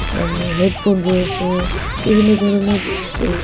আপনার হেডফোন রয়েছে-এ বিভিন্ন ধরনের জিনিস এই--